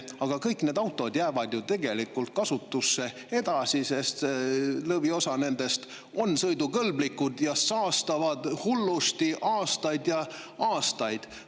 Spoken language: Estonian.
Ometigi jäävad kõik need autod ju tegelikult kasutusse edasi, sest lõviosa nendest on sõidukõlblikud, ja saastavad hullusti aastaid ja aastaid.